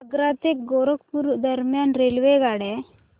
आग्रा ते गोरखपुर दरम्यान रेल्वेगाड्या